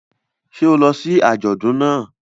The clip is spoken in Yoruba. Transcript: Ṣé o lọ sí àjọdùn náà?